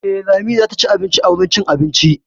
Eh, Lami zata ci abinci a wurin cin abinci.